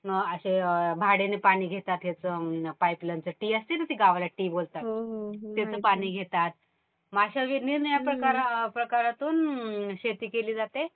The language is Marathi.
किव्हा असं भाड्याने पाणी घेतात ह्याच पाईपलाईनच. टि असते ना गावाला टि बोलतात. त्याचं पाणी घेतात. मग अशा निरनिराळ्या प्रकारातून शेती केली जाते.